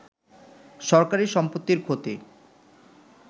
সরকারি সম্পত্তির ক্ষতি